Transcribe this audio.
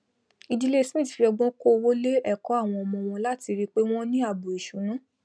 ìdílé smith fi ọgbọn kó owó lé èkó àwọn ọmọ won láti rìi pé wón ní ààbò ìsúná